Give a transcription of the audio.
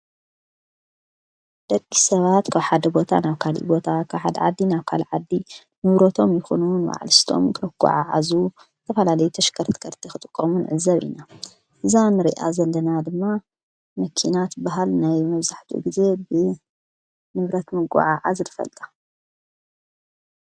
ደቂ ሰባት ካብ ሓደ ቦታ ናብ ካልእ ቦታ ካብሓድ ዓዲ ናብ ካሊእ ዓዲ ንውሮቶም ይኹኑን ንዋዕሊስቶም ክጐዓዙ ዝተፈላለያ ተሽከርትከርቲ ኽጥቀሙን ንዕዘብ ኢና እዛ ንሪኣ ዘለና ድማ መኪና ትበሃል ናይ መብዛሕቲኡ ንብረት ብምጉዕዓ ንፈልጣ።